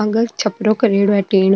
आगे छप्रो करेडॉ है टेन --